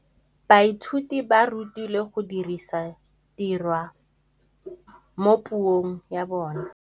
Baithuti ba rutilwe go dirisa tirwa mo puong ya bone.